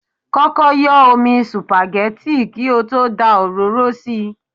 Kọ́kọ́ yọ́ omi supagẹ́tì kí ó tó dá òróró sí i.